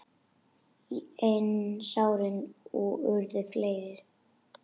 En sárin urðu fleiri.